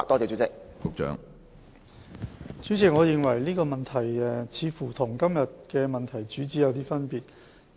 主席，我認為這問題似乎偏離了今天的主體質詢的主旨。